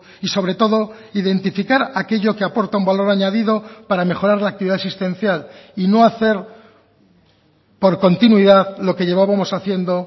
y sobre todo identificar aquello que aporta un valor añadido para mejorar la actividad asistencial y no hacer por continuidad lo que llevábamos haciendo